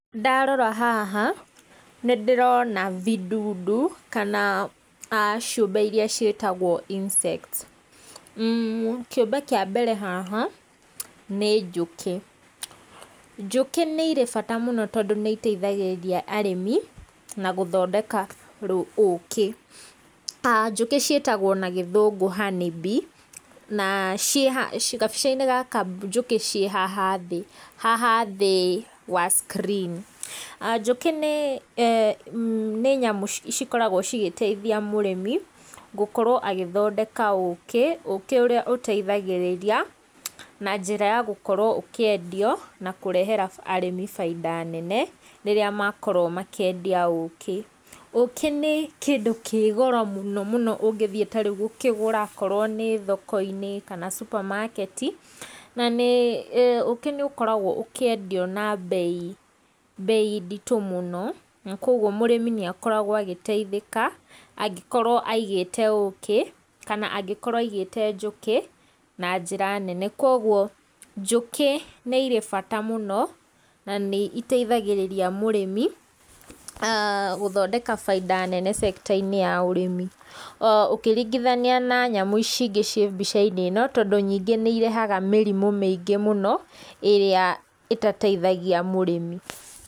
Ndarora haha nĩ ndĩrona vidudu kana ciũmbe iria ciĩtagwo insects, kĩũmbe kĩa mbere haha nĩ njũkĩ, njũkĩ nĩ irĩ bata mũno, tondũ nĩ iteithagĩrĩria arĩmi na gũthondeka ũkĩ, njũkĩ ciĩtagwo na gĩthũngũ honey bee na gabica-inĩ gaka njũkĩ ciĩ haha thĩ, haha thĩ wa screen, njũkĩ nĩ nyamũ cikoragwo cigĩteithia mũrĩmi gũkorwo agĩthondeka ũkĩ, ũkĩ ũrĩa ũteithagĩrĩria na njĩra ya gũkorwo ũkĩendio, na kũrehera arĩmi bainda nene, rĩrĩa makorwo makĩendia ũkĩ, ũkĩ nĩ kĩndũ kĩ goro mũno mũno ũngĩthiĩ ta rĩu gũkĩgũra okorwo nĩ thoko-inĩ kana supermarket, na nĩ ũkĩ nĩ ũkoragwo ũkĩendio na mbei mbei nditũ mũno, na koguo mũrĩmi nĩ akoragwo agĩteithĩka, angĩkorwo aigĩte ũkĩ, kana angĩkorwo aigĩte njũkĩ na njĩra nene, koguo njũkĩ nĩ irĩ bata mũno, na nĩ iteithagĩrĩria mũrĩmi gũthondeka bainda nene cekita-inĩ ya ũrĩmi ũkĩringithania na nyamũ ici ingĩ ciĩ mbica-inĩ ĩno, tondũ nyingĩ nĩ irehaga mĩrimũ mĩingĩ mũno ĩrĩa ĩtateithagia mũrĩmi.